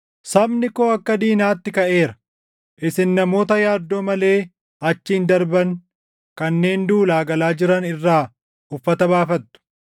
Sabni koo akka diinaatti kaʼeera. Isin namoota yaaddoo malee achiin darban kanneen duulaa galaa jiran irraa uffata baafattu.